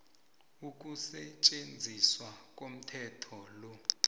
ukusetjenziswa komthetho lo